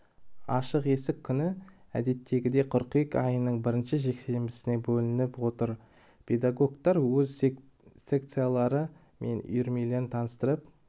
ашық есік күні әдеттегідей қыркүйек айының бірінші жексенбісіне белгіленіп отыр педагогтар өз секциялары мен үйірмелерін таныстырып